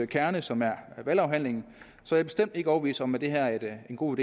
kerne som er valghandlingen så bestemt er ikke overbevist om at det her er en god